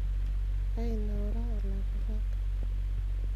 ainaura olakurrak